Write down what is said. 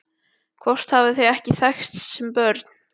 Hvort þau hafi ekki þekkst sem börn?